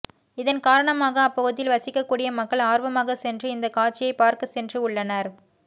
இதன் காரணமாக அப்பகுதியில் வசிக்கக்கூடிய மக்கள் ஆர்வமாக சென்று இந்தகாட்சியை பார்க்க சென்று உள்ளனர்